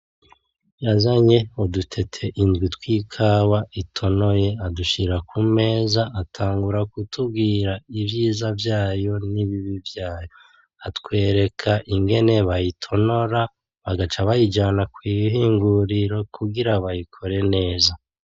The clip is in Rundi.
Yazanye udutete indwi tw'ikawa itonoye adushira ku meza atangura kutubgira ivyiza vyayo nibibi vyayo. Atwereka ingene bayitonora bagaca bayijana kwihinguriro kugira bayikore neza.